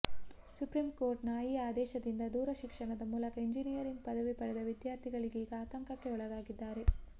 supreme court ನ ಈ ಆದೇಶದಿಂದ ದೂರ ಶಿಕ್ಷಣದ ಮೂಲಕ ಎಂಜಿನಿಯರಿಂಗ್ ಪದವಿ ಪಡೆದ ವಿದ್ಯಾರ್ಥಿಗಳೀಗ ಆತಂಕಕ್ಕೆ ಒಳಗಾಗಿದ್ದಾರೆ